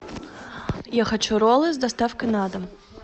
я хочу роллы с доставкой на дом